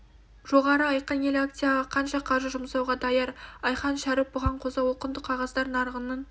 жоғары айқын ел акцияға қанша қаржы жұмсауға даяр айхан шәріп бұған қоса ол құнды қағаздар нарығының